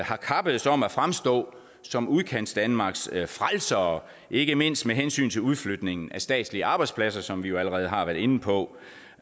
har kappedes om at fremstå som udkantsdanmarks frelsere ikke mindst med hensyn til udflytning af statslige arbejdspladser som vi allerede har været inde på